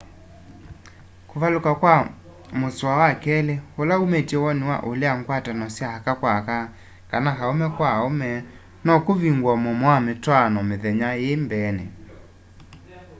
kuvaluka kwa musoa wa keli ula umitye woni wa ulea ngwatano sya aka kwa aka kana aume kwa aume no kuvingue muomo wa mitwaano mithenya ii mbeeni